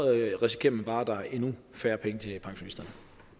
risikerer man bare at der er endnu færre penge til pensionisterne